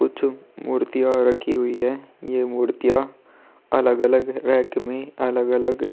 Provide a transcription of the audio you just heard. कुछ मूर्तियां रखी हुई है यह मूर्तियां अलग-अलग रेक में अलग-अलग --